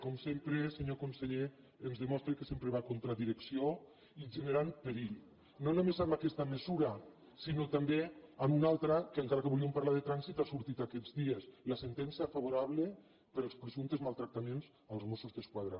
com sempre senyor conseller ens demostra que sempre va contra direcció i generant perill no només amb aquesta mesura sinó també amb una altra que encara que volíem parlar de trànsit ha sortit aquests dies la sentència favorable pels presumptes maltractaments als mossos d’esquadra